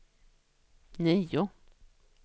nio